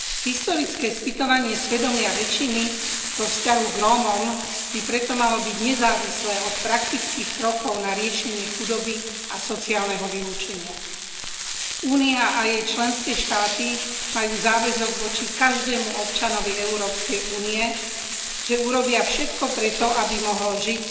Historické spytovanie svedomia väčšiny vo vzťahu k Rómom by preto malo byť nezávislé od praktických krokov na riešenie chudoby a sociálneho vylúčenia. Únia a jej členské štáty majú záväzok voči každému občanovi Európskej únie, že urobia všetko preto, aby mohol žiť